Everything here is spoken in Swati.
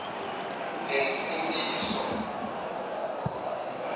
nensindiso